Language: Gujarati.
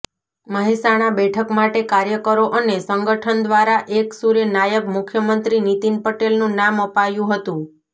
મહેસાણા બેઠક માટે કાર્યકરો અને સંગઠન દ્વારા એકસૂરે નાયબ મુખ્યમંત્રી નીતિન પટેલનું નામ અપાયું હતું